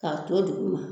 K'a to duguma